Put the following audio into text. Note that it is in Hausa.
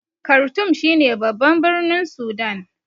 Kartum shi ne babban birnin Sudan